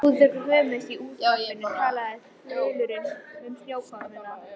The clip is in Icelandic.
Rúðuþurrkurnar hömuðust, í útvarpinu talaði þulurinn um snjókomuna.